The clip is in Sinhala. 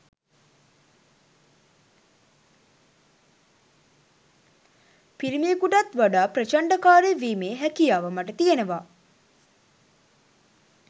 පිරිමියෙකුටත් වඩා ප්‍රචණ්ඩකාරී වීමේ හැකියාව මට තියෙනවා